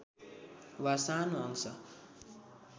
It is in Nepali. वा सानो अंश